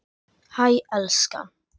Hæ, elskan.